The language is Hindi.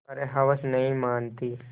पर हवस नहीं मानती